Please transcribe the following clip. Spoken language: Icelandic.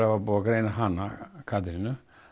var búið að greina Katrínu